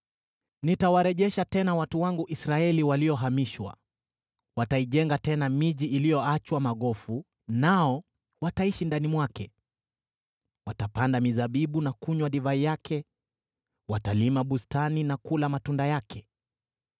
Nitawarejesha tena watu wangu Israeli waliohamishwa; wataijenga tena miji iliyoachwa magofu, nao wataishi ndani mwake. Watapanda mizabibu na kunywa divai yake; watalima bustani na kula matunda yake.